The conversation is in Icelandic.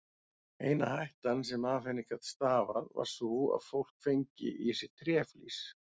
Eina hættan sem af henni gat stafað var sú að fólk fengi í sig tréflís.